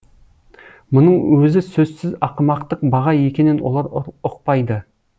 мұның өзі сөзсіз ақымақтық баға екенін олар ұқпайды